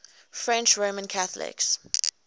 french roman catholics